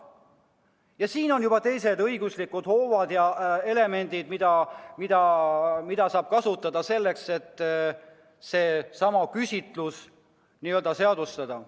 Ja siin on juba teised õiguslikud hoovad, mida saab kasutada selleks, et selle küsitluse tulemus n-ö seadustada.